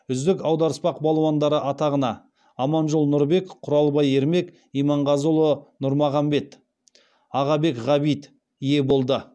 үздік аударыспақ балуандары атағына аманжол нұрбек құралбай ермек иманғазыұлы нармағанбет ағабек ғабит ие болды